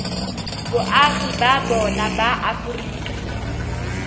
boagi ba bona ba aforika